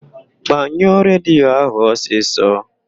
Gbanyụọ redio ahụ ọsịsọ!